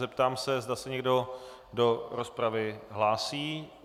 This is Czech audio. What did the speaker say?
Zeptám se, zda se někdo do rozpravy hlásí.